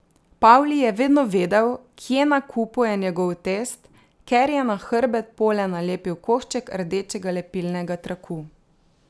Pavli je vedno vedel, kje na kupu je njegov test, ker je na hrbet pole nalepil košček rdečega lepilnega traku.